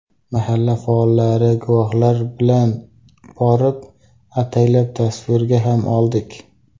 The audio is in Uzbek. Mahalla faollari, guvohlar bilan borib, ataylab tasvirga ham oldik.